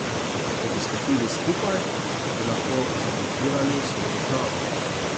Če bi stopili skupaj, bi lahko zablokirali vso državo.